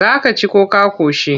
Za ka ci ko ka ƙoshi?